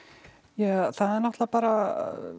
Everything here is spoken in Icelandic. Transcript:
ja það er náttúrulega bara